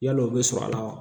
Yalo u bɛ sɔrɔ a la wa